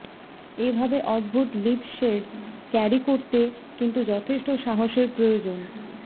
এভাবে অদ্ভুত lip shades carry করতে কিন্তু যথেষ্ট সাহসের প্রয়োজন